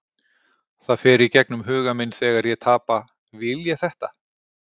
Það fer í gegnum huga minn þegar ég tapa, vil ég þetta?